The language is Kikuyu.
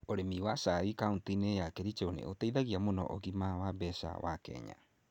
Ũrĩmi wa cai kaunti-inĩ ya Kericho nĩ ũteithagia mũno ũgima wa mbeca wa Kenya.